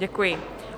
Děkuji.